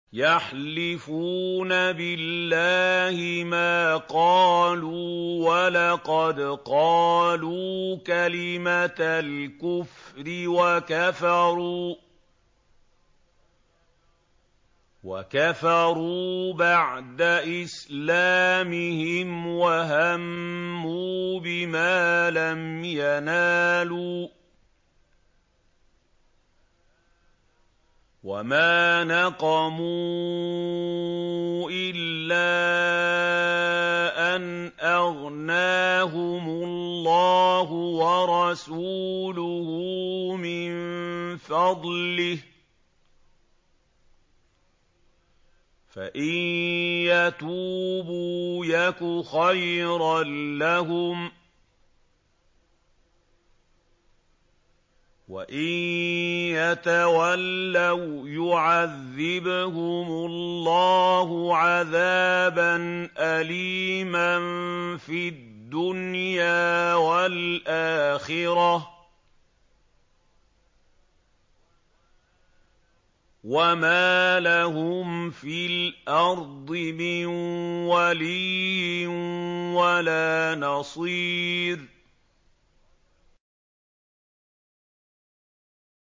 يَحْلِفُونَ بِاللَّهِ مَا قَالُوا وَلَقَدْ قَالُوا كَلِمَةَ الْكُفْرِ وَكَفَرُوا بَعْدَ إِسْلَامِهِمْ وَهَمُّوا بِمَا لَمْ يَنَالُوا ۚ وَمَا نَقَمُوا إِلَّا أَنْ أَغْنَاهُمُ اللَّهُ وَرَسُولُهُ مِن فَضْلِهِ ۚ فَإِن يَتُوبُوا يَكُ خَيْرًا لَّهُمْ ۖ وَإِن يَتَوَلَّوْا يُعَذِّبْهُمُ اللَّهُ عَذَابًا أَلِيمًا فِي الدُّنْيَا وَالْآخِرَةِ ۚ وَمَا لَهُمْ فِي الْأَرْضِ مِن وَلِيٍّ وَلَا نَصِيرٍ